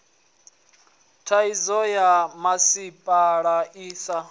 thaidzo ya misipha i sa